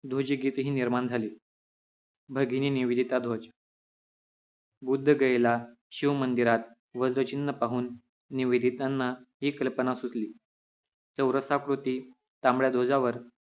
ध्वज गीत ही निर्माण झाले भगिनी निवेदिता ध्वज बुद्ध गयेला शिव मंदिरात वज्र चिन्ह पाहून निवेदितांना ही कल्पना सुचली चौरसाकृती तांबड्या ध्वजावर